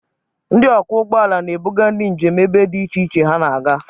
Ndị ọkwọ ụgbọ ala na-ebuga ndị njem ebe dị iche iche ha na-aga.